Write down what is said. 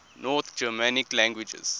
north germanic languages